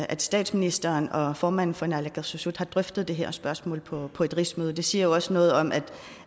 at statsministeren og formanden for naalakkersuisut har drøftet det her spørgsmål på på et rigsmøde det siger jo også noget om at